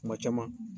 Kuma caman